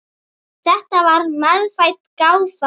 Þetta var meðfædd gáfa.